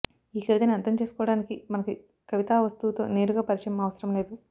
ఈ కవితని అర్థం చేసుకోవడానికి మనకి కవితా వస్తువుతో నేరుగా పరిచయం అవసరం లేదు